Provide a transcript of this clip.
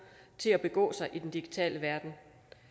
til at begå sig i den digitale verden